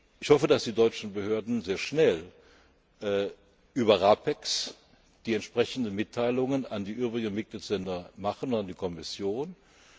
Ich hoffe, dass die deutschen Behörden sehr schnell über RAPEX die entsprechenden Mitteilungen an die übrigen Mitgliedsländer und an die Kommission machen.